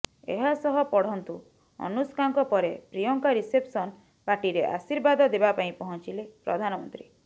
ଏହା ସହ ପଢନ୍ତୁ ଅନୁଷ୍କାଙ୍କ ପରେ ପ୍ରିୟଙ୍କା ରିସେପସନ୍ ପାର୍ଟିରେ ଆଶୀର୍ବାଦ ଦେବାପାଇଁ ପହଞ୍ଚିଲେ ପ୍ରଧାନମନ୍ତ୍ରୀ